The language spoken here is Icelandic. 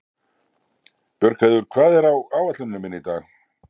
Björgheiður, hvað er á áætluninni minni í dag?